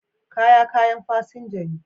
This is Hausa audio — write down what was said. Kaya kayan fasinja ne.